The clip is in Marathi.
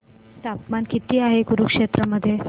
तापमान किती आहे कुरुक्षेत्र मध्ये